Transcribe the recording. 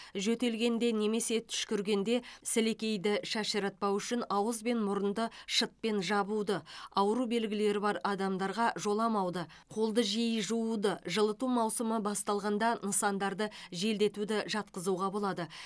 жөтелгенде немесе түшкіргенде сілекейді шашыратпау үшін ауыз бен мұрынды шытпен жабуды ауру белгілері бар адамдарға жоламауды қолды жиі жууды жылыту маусымы басталғанда нысандарды желдетуді жатқызуға болады